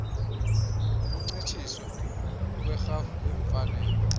ukuncitshiswa kwerhafu yeemfanelo